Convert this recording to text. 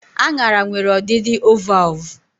Aṅara nwere ọdịdị ovalvụ